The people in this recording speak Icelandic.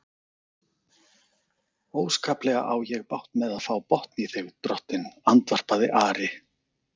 Óskaplega á ég bágt með að fá botn í þig, drottinn, andvarpaði Ari.